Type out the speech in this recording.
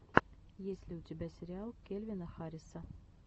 есть ли у тебя сериал кельвина харриса